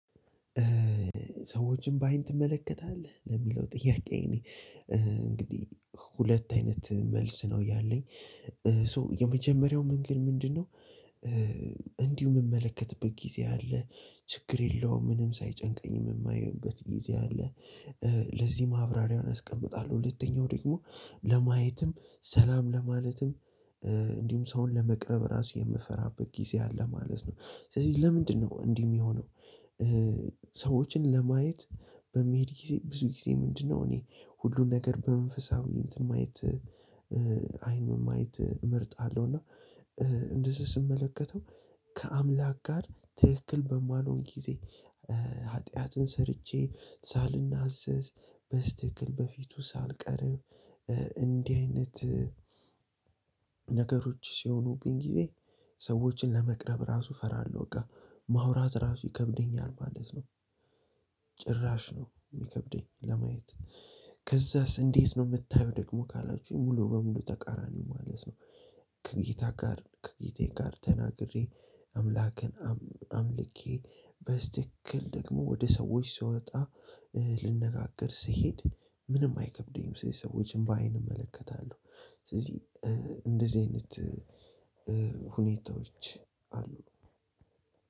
ሰዎችን በአይን ትመለከታለህ ለሚለው ጥያቄ እኔ እንግዲህ ሁለት አይነት መልስ ነው ያለኝ። ሶ የመጀመሪያው መንገድ ምንድነው? እንዲሁ የምመለከትበት ጊዜ አለ ችግር የለውም ምንም ሳይጨንቀኝ የማይበት ጊዜ አለ። ለዚህ ማብራሪያውን አስቀምጣለሁ። ሁለተኛው ደግሞ ለማየትም ሰላም ለማለትም እንዲሁም ሰውን ለመቅረብ ራሱ የምፈራበት ጊዜ አለ ማለት ነው። ስለዚህ ለምንድነው እንዲህ የሚሆነው? ሰዎችን ለማየት በመሄድ ጊዜ ብዙ ጊዜ ምንድነው እኔ ሁሉን ነገር በመንፈሳዊ እንትን ማየት። አይን ማየት እመርጣለሁ። እና እንደዚህ ስመለከተው ከአምላክ ጋር ትክክል በማልሆን ጊዜ። ኃጢአትን ሰርቼ ሳልናዘዝ በስትክክል በፊቱ ሳልቀርብ እንዲህ አይነት። ነገሮች ሲሆኑብኝ ጊዜ። ሰወችን ለመቅረብ እፈራለው በቃ ማውራት እራሱ ይከብደኛል ማለት ነው። ጭራሽ ነው የሚከብደኝ ለማየት። ከዛስ እንዴት ነው የምታየው? ደግሞ ካላችሁኝ ሙሉ በሙሉ ተቃራኒ ማለት ነው። ከጌታ ጋር ከጌቴ ጋር ተናግሬ አምላክን አምልኬ በስትክክል ደግሞ ወደ ሰዎች ስወጣ። ልነጋገር ስሄድ ምንም አይከብደኝም ስለዚህ ሰዎችን በአይን እመለከታለሁ። ስለዚህ እንደዚህ አይነት ሁኔታዎች አሉ።